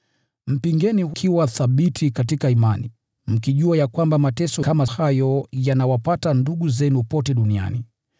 Mpingeni, mkiwa thabiti katika imani, mkijua ya kwamba mateso kama hayo yanawapata ndugu zenu pote duniani.